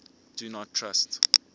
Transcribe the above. do not trust